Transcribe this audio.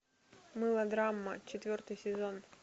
мылодрама четвертый сезон